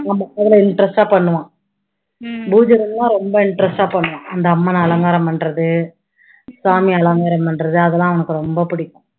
ஆமா, அதுல interest ஆ பண்ணுவான் பூஜை room னா ரொம்ப interest ஆ பண்ணுவான் அந்த அம்மனை அலங்காரம் பண்றது, சாமியை அலங்காரம் பண்றது அதெல்லாம் அவனுக்கு ரொம்ப புடிக்கும்